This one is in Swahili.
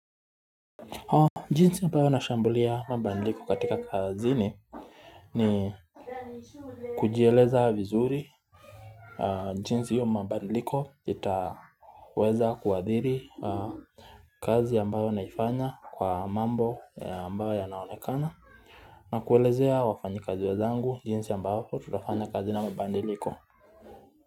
Jinsi ambayo nashambulia mabandiliko katika kazini ni kujieleza vizuri jinsi hio mabandiliko itaweza kuadhiri kazi ambayo naifanya kwa mambo ambayo yanaonekana nakuelezea wafanya kazi wezangu jinsi ambavyo tutafanya kazi na mabandiliko.